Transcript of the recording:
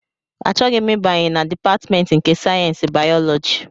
Achọghị m ịbanye na Dipatmentị nke sayensị bayọlọji!